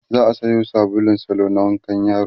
za'a Sayo sabulun salo na wankan yaro